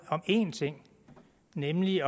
en ting nemlig